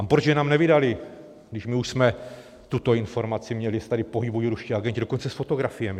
A proč nám je nevydali, když my už jsme tuto informaci měli, že se tady pohybují ruští agenti, dokonce s fotografiemi?